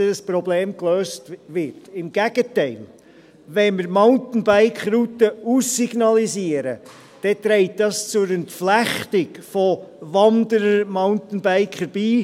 Im Gegenteil: Wenn wir Mountainbike-Routen aussignalisieren, trägt dies zur Entflechtung von Wanderern und Mountainbikern bei.